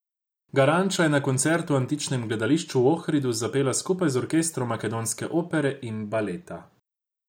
Garanča je na koncertu v antičnem gledališču v Ohridu zapela skupaj z orkestrom Makedonske opere in baleta.